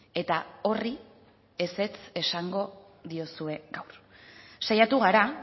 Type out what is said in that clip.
eta horri ezetz esango diozue gaur saiatu gara